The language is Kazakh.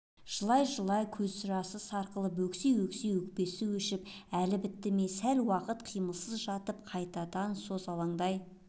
жылай-жылай көз жасы сарқылып өкси-өкси өкпесі өшіп әлі бітті ме сәл уақыт қимылсыз жатып қайтадан созалаңдай